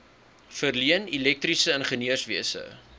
verleen elektriese ingenieurswese